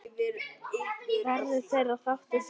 Verður þeirra þáttur seint metinn.